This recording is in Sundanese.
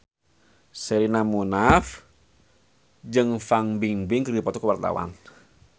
Sherina Munaf jeung Fan Bingbing keur dipoto ku wartawan